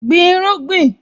Gbin irúgbìn!